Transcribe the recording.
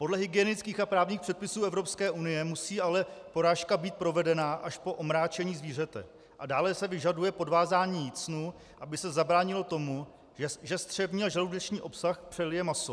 Podle hygienických a právních předpisů Evropské unie musí ale porážka být provedena až po omráčení zvířete a dále se vyžaduje podvázání jícnu, aby se zabránilo tomu, že střevní a žaludeční obsah přelije maso.